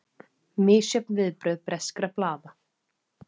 Misjöfn viðbrögð breskra blaða